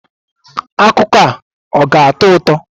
Akụkọ a ọ ga-atọ ụtọ?